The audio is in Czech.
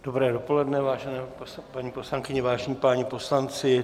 Dobré dopoledne, vážené paní poslankyně, vážení páni poslanci.